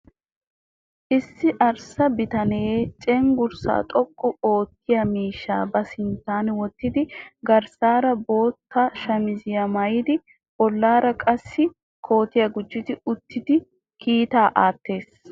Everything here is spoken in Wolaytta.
Issi arssa bitanee cenggurssaa xoqqu oottiya miishshaa ba sinttan wottidi garssaara bootta shamiziya maayidi bollaara qassi kootiya gujjidi uttidi kiitaa aattees.